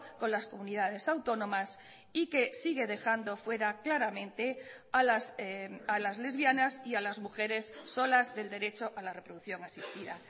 con las comunidades autónomas y que sigue dejando fuera claramente a las lesbianas y a las mujeres solas del derecho a la reproducción asistida